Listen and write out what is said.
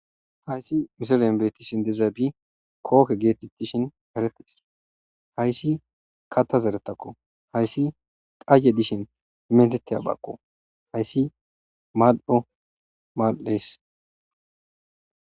Haysi misilen beetishe dizabi kohe geetetidi eretishin Haysi kaatha zerethako haysi qahe dishes meetetizaysako haysi mal'o mal'ees.